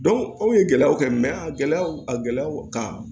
anw ye gɛlɛyaw kɛ mɛ a gɛlɛyaw a gɛlɛyaw ka